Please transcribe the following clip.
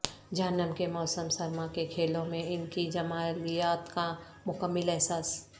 جہنم کے موسم سرما کے کھیلوں میں ان کی جمالیات کا مکمل احساس